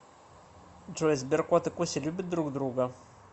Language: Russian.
джой сберкот и куся любят друг друга